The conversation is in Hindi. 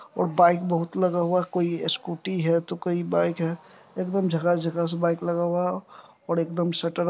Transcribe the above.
और बाइक बहुत लगा हुआ कोई स्कूटी है तो कोई बाइक है एक-दम झकास-झकास बाइक लगा हुआ और एकदम शटर--